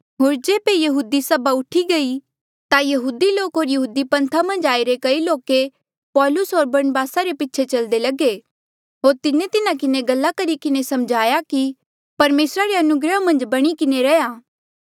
होर जेबे यहूदी सभा उठी गयी ता यहूदी लोक होर यहूदी पन्था मन्झ आईरे कई लोके पौलुस होर बरनबासा रे पीछे चलदे लगे होर तिन्हें तिन्हा किन्हें गल्ला करी किन्हें समझाया कि परमेसरा री अनुग्रह मन्झ बणी किन्हें रैहया